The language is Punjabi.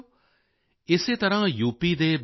ਸਾਥੀਓ ਇਸੇ ਤਰ੍ਹਾਂ ਯੂ